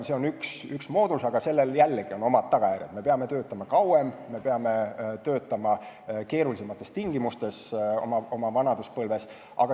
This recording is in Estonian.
See on üks moodus, aga sellel on jällegi oma tagajärjed – me peame töötama kauem, me peame töötama keerulisemates tingimustes oma vanaduspõlves.